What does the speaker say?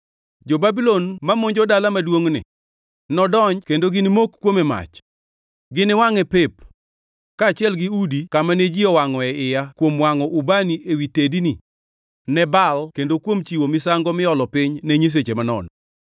Jo-Babulon mamonjo dala maduongʼni nodonji kendo ginimok kuome mach; giniwangʼe pep, kaachiel gi udi kamane ji owangʼoe iya kuom wangʼo ubani ewi tedni ne Baal kendo kuom chiwo misango miolo piny ne nyiseche manono.